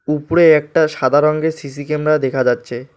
উপরে একটা সাদা রঙ্গের সি_সি ক্যামেরা দেখা যাচ্ছে।